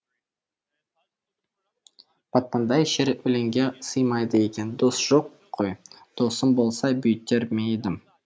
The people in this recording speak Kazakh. батпандай шер өлеңге сыймайды екен дос жоқ қой досым болса бүйтер ме едім